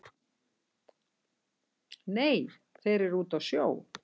Nei þeir eru úti á sjó